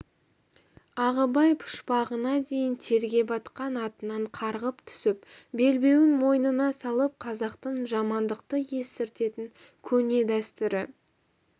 ағыбай пұшпағына дейін терге батқан атынан қарғып түсіп белбеуін мойнына салып қазақтың жамандықты естіртетін көне дәстүрі